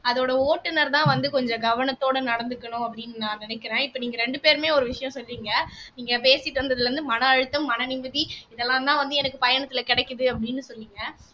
அதோட ஓட்டுநர்தான் வந்து கொஞ்சம் கவனத்தோட நடந்துக்கணும் அப்படின்னு நான் நினைக்கிறேன் இப்ப நீங்க ரெண்டு பேருமே ஒரு விஷயம் சொன்னிங்க நீங்க பேசிட்டு இருந்ததுல இருந்து மனஅழுத்தம் மன நிம்மதி இதெல்லாம் தான் வந்து எனக்கு பயணத்துல கிடைக்குது அப்படின்னு சொன்னீங்க